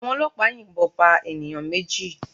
Àwọn ọlọ́pàá yìnbọn pa ènìyàn méjì